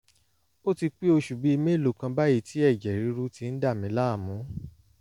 ó ti pé oṣù bíi mélòó kan báyìí tí ẹ̀jẹ̀ ríru ti ń dà mí láàmú